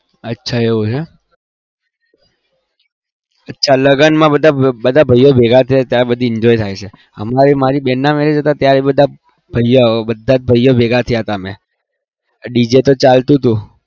અચ્છા એવું છે અચ્છા લગનમાં બધા બધા ભાઈઓ ભેગા થયા ત્યારે બધી enjoy થાય છે. હમણાં મારી બેનના marriage હતા ત્યારે બધા ભાઈઓ બધા જ ભાઈઓ ભેગા થયા હતા અમે DJ તો ચાલતું હતું